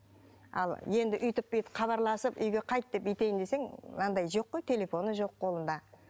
ал енді өйтіп бүйтіп хабарласып үйге қайт деп өйтейін десең анадай жоқ қой телефоны жоқ қолында